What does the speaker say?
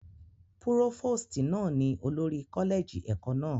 Púrófòstì náà ni olórí kọ́lẹ́ẹ̀jì ẹ̀kọ́ náà